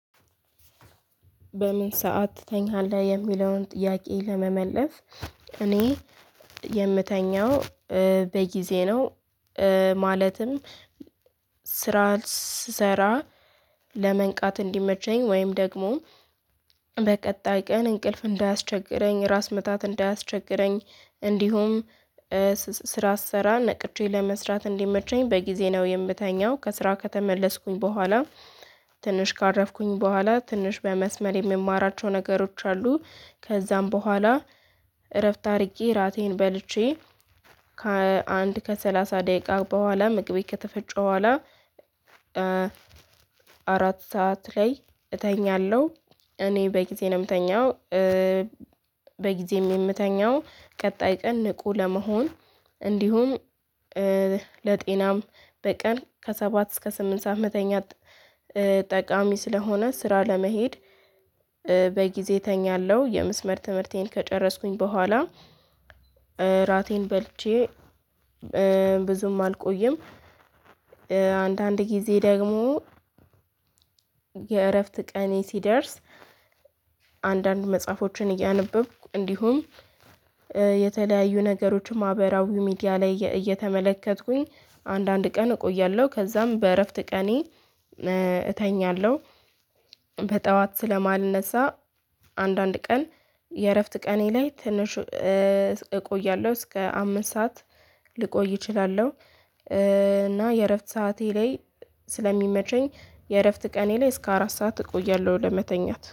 በምን ሰዓት ትተኛለህ? የሚለውን ጥያቄ ለመመለስ እኔ የምተኛው በጊዜ ነው ማለትም ስራ ስሰራ ለመንቃት እንዲመቸኝ ወይም ደግሞ በቀጣይ ቀን እንቅልፍ እንዳያስቸግረኝ ራስ ምታት እንዳያስቸግረኝ እንዲሁም ስራ ስሰራ ነቅቼ ለመስራት እንዲመቸኝ በጊዜ ነው የምተኛው ከስራ ከተመለስኩኝ ቦኋላ ትንሽ ካረፍኩኝ ቦኋላ ትንሽ በመስመር የምማራቸው ነገሮች አሉ ከዛም ቦኋላ እረፍት አድርጌ እራቴን በልቼ ከአንድ ከሰላሳ ደቂቃ ቦኋላ ምግቤ ከተፈጨ ቦኋላ አራት ሰዓት ላይ እተኛለው እኔ በጊዜ ነው የምተኛው። በጊዜም የምተኛው ቀጣይ ቀን ንቁ ለመሆን እንዲሁም ለጤናም በቀን ከሰባት እስከ ስምንት ሰዓት መተኛት ጠቃሚ ስለሆነ ስራ ለመሄድ በጊዜ እተኛለሁ የምስመር ትምህርቴን ከጨረስኩኝ ቦኋላ እራቴን በልቼ ብዙም አልቆይም አንዳንድ ጊዜ ደግሞ የእረፍት ቀኔ ሲደርስ አንዳንድ መጽሐፎችን እያነበብኩ እንዲሁም የተለያዩ ነገሮች ማህበራዊ ሚዲያ ላይ እየተመለከትኩኝ አንዳንድ ቀን እቆያለሁ ከዛም በእረፍት ቀኔ እተኛለው በጡዋት ስለማልነሳ አንዳንድ ቀን የእረፍት ቀኔ ላይ ትንሽ እቆያለው እስከ አምስት ሰዓት ልቆይ እችላለው። እና የእረፍት ሰዓቴ ላይ ስለሚመቸኝ የእረፍት ቀኔ ላይ እስከ አራት ሰዓት እቆያለሁ ለመተኛት።